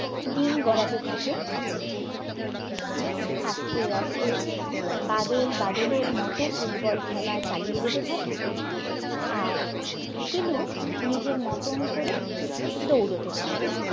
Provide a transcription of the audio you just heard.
দিন গড়াতে থাকে আস্থে আস্থে বাদল বাদলের মতো ফুটবল খেলা চালিয়ে যেতে থাকে আর শিলু নিজের মতন করে দৌড়োতে থাকে